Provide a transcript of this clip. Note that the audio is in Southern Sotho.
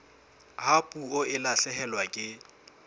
ha puo e lahlehelwa ke